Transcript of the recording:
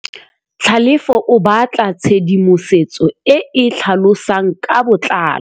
Tlhalefô o batla tshedimosetsô e e tlhalosang ka botlalô.